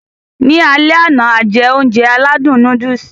Ní alẹ àná, a jẹ oúnjẹ alẹ́ aládùn núdùùsì.